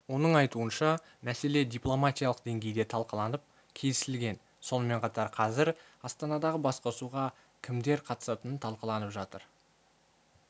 оның айтуынша мәселе дипломатиялық деңгейде талқыланып келісілген сонымен қатар қазір астанадағы басқосуға кімдер қатысатыны талқыланып жатқанын